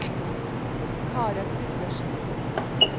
Karen Gundersen